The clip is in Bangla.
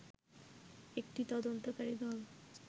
একটি তদন্তকারী দল